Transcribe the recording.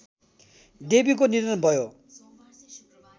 देवीको निधन भयो